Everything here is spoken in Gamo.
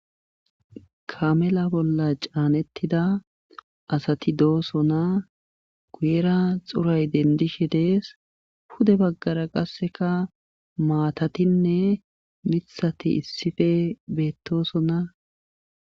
Kamela bolla caanettida asati dooso naa guyera xuray dendishe dees hude baggara qasseka maatatinne mithati issife beettoosona.